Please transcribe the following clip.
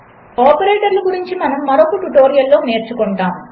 ఆపరేటర్లగురించిమనముమరొకట్యుటోరియల్లోనేర్చుకుంటాము